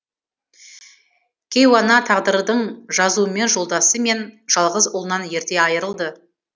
кейуана тағдырдың жазуымен жолдасы мен жалғыз ұлынан ерте айырылды